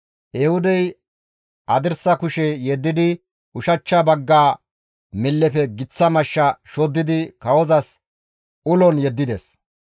Ehuudey hadirsa kushe yeddidi ushachcha bagga millefe giththa mashsha shoddidi kawozas ulon yeddides.